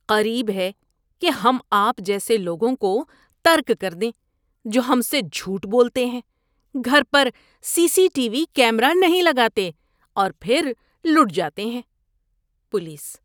قریب ہے کہ ہم آپ جیسے لوگوں کو ترک کر دیں جو ہم سے جھوٹ بولتے ہیں، گھر پر C C T V camera نہیں لگاتے اور پھر لٹ جاتے ہیں۔ (پولیس)